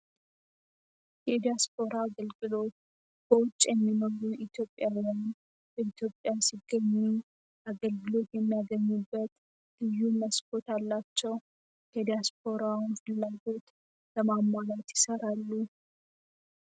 የዲያሰፖራ አገልግሎት በውጭ የሚኖሩ ኢትዮጵያዊያን በኢትዮጵያ ሲገኙ፤ አገልግሎት የሚያገኙበት ልዩ መስኮት አላቸው። የዲያስፖራ ፍላጎት ለማሟላት ይሰራሉ።